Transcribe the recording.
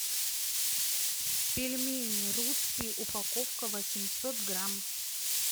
пельмени русские упаковка восемьсот грамм